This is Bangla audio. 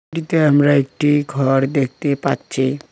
এটিতে আমরা একটি ঘর দেখতে পাচ্ছি।